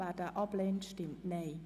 Wer ihn ablehnt, stimmt Nein.